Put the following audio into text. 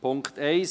Punkt 1